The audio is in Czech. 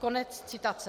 Konec citace.